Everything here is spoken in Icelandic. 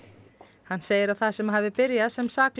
hann segir að það sem hafi byrjað sem saklaus